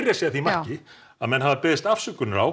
að segja að því marki að menn hafa beðist afsökunar á